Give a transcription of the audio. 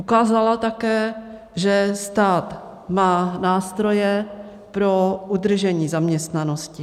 Ukázala také, že stát má nástroje pro udržení zaměstnanosti.